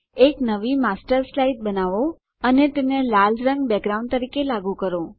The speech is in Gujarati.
એક નવી માસ્ટર સ્લાઇડ બનાવો અને તેને લાલ રંગ બેકગ્રાઉન્ડ તરીકે લાગુ કરો